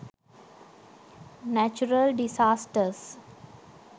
natural disasters